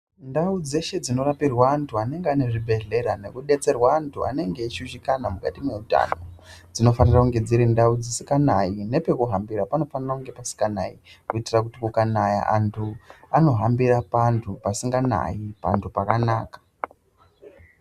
Ndau dzeshe dzinorapirwa antu anenge ane zvibhedhlera nekubetserwa antu anenge eishushikana mukati meutano. Dzinofanira kunge dzirindau dzisikanayi, nepekuhambira panofanira kunge pasikanai. Kuitira kuti kukanaya antu anohambira pantu pasikanayi pakanaka.